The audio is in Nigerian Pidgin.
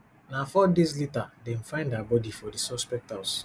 na four days later dem find her bodi for di suspect house